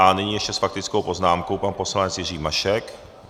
A nyní ještě s faktickou poznámkou pan poslanec Jiří Mašek.